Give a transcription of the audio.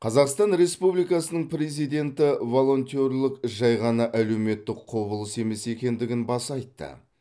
қазақстан республикасының президенті волонтерлік жай ғана әлеуметтік құбылыс емес екендігін баса айтты